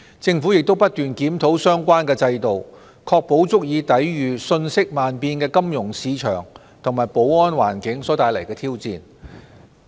政府亦不斷檢討相關制度，確保其足以抵禦瞬息萬變的金融市場和安全環境所帶來的挑戰。